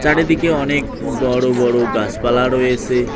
ওপরের দিকে অনেক বড় বড় গাছপালা রয়েসে।